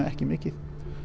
ekki mikið